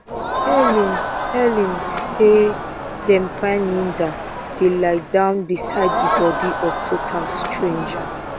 helen helen say dem find linda dey lie down beside di bodi of total stranger